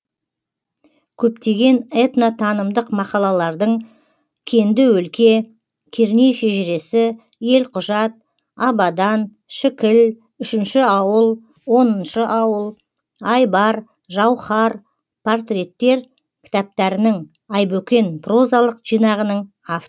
көптеген этно танымдық мақалалардың кенді өлке керней шежіресі елқұжат абадан шікіл үшінші ауыл оныншы ауыл айбар жауһар портреттер кітаптарының айбөкен прозалық жинағының авторы